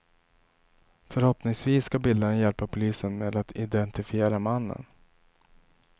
Förhoppningsvis ska bilderna hjälpa polisen med att identifiera mannen.